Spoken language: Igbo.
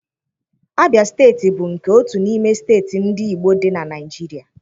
Abịa steeti bụ nke otu n'ime steeti ndị Igbo dị na Naịjirịa.